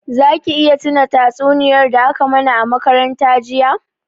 Za ki iya tuna tatsuniyar da a ka mana a makaranta jiya?